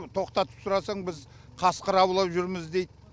тоқтатып сұрасаң біз қасқыр аулап жүрміз дейді